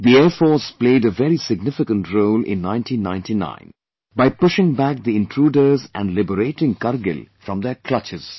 The Air Force played a very significant role in 1999 by pushing back the intruders and liberating Kargil from their clutches